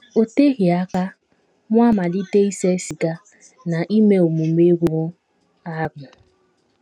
O teghị aka, mụ amalite ise siga na ime omume rụrụ arụ.